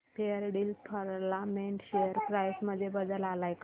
Fairdeal filament share price मध्ये बदल आलाय का